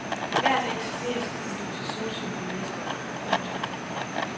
Hver dag serveres en dosis sortsyn for læserne. punktum